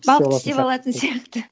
балық тістеп алатын сияқты